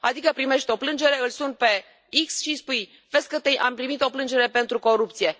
Adică primești o plângere, îl suni pe X și îi spui Am primit o plângere pentru corupție.